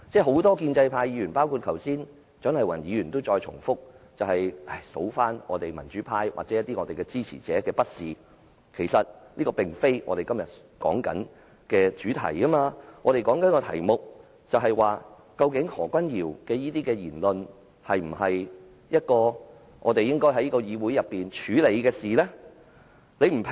很多建制派議員，包括蔣麗芸議員剛才也在重複數算民主派或我們一些支持者的不是，但這其實並非我們今天的討論主題，我們正在討論的議題是何君堯議員這類言論，是否我們應在議會內處理的事情？